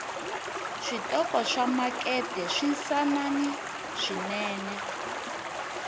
switoko swamakete swinsanani swinene